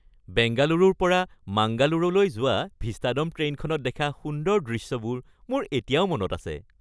বেংগালুৰুৰ পৰা মাংগালুৰুলৈ যোৱা ভিষ্টাড'ম ট্ৰেইনত দেখা সুন্দৰ দৃশ্যবোৰ মোৰ এতিয়াও মনত আছে।